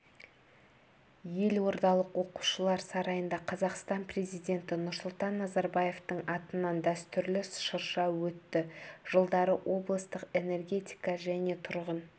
елордалық оқушылар сарайында қазақстан президенті нұрсұлтан назарбаевтың атынан дәстүрлі шырша өтті жылдары облыстық энергетика және тұрғын